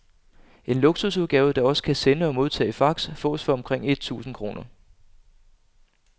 En luksusudgave, der også kan sende og modtage fax, fås for omkring et tusind kroner.